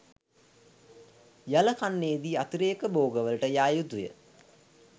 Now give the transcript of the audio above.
යල කන්නයේදී අතිරේක භෝගවලට යා යුතුයි